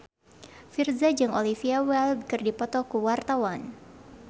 Virzha jeung Olivia Wilde keur dipoto ku wartawan